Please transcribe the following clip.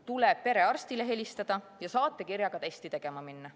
Tuleb perearstile helistada ja saatekirjaga testi tegema minna.